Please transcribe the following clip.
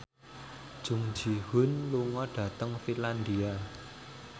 Jung Ji Hoon lunga dhateng Finlandia